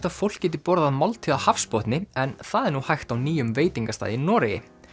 að fólk geti borðað máltíð á hafsbotni en það er nú hægt á nýjum veitingastað í Noregi